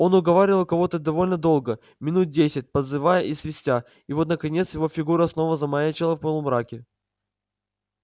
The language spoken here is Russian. он уговаривал кого-то довольно долго минут десять подзывая и свистя и вот наконец его фигура снова замаячила в полумраке